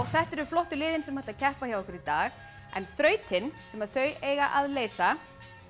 þetta eru flottu liðin sem ætla að keppa hjá okkur í dag en þrautin sem þau eiga að leysa